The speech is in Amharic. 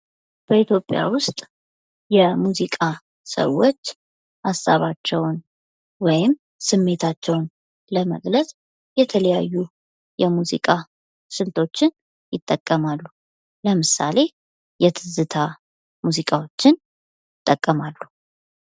በኢትዮጵያ ውስጥ የሙዚቃ ሰዎች ሀሳባቸውን ወይም ስሜታቸውን ለመግለጽ የተለያዩ የሙዚቃ ስልቶችን ይጠቀማሉ ። ለምሳሌ የትዝታ ሙዚቃዎችን ይጠቀማሉ ።